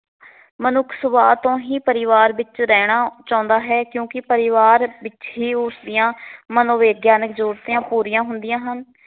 ਮਨੁੱਖ ਸੁਭਾਅ ਤੋਂ ਹੀ ਪਰਿਵਾਰ ਵਿੱਚ ਰਹਿਣਾ ਚਾਹੁੰਦਾ ਹੈ ਕਿਉਂੀਕ ਪਰਿਵਾਰ ਵਿੱਚ ਹੀ ਉਸ ਦੀਆ ਮਨੋਵਿਗਿਆਨਿਕ ਜ਼ਰੂਰਤਾਂ ਪੂਰੀਆਂ ਹੁੰਦੀਆਂ ਹਨ।